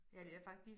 Så